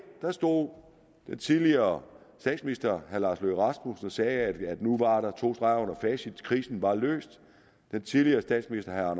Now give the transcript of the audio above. stod den tidligere statsminister herre lars løkke rasmussen og sagde at nu var der to streger under facit for krisen var løst den tidligere statsminister herre